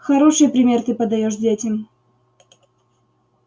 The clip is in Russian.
хороший пример ты подаёшь детям